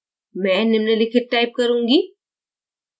मैं निम्नलिखित type करूँगी